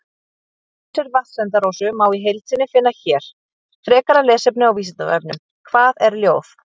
Vísur Vatnsenda-Rósu má í heild sinni finna hér Frekara lesefni á Vísindavefnum: Hvað er ljóð?